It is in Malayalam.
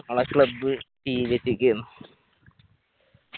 നാള club ക്കേന്ന്